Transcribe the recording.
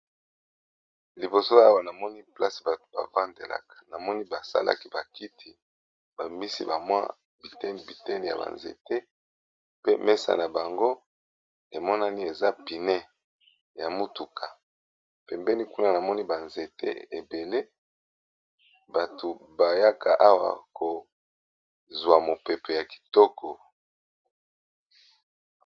Liboso awa namoni place bato bavandelaka namoni basalaki bakiti babimisi ba mwa biteni biteni ya ba nzete pe mesa na bango emonani eza pneus ya mutuka pembeni kuna namoni ba nzete ebele bato bayaka awa kozwa mopepe ya kitoko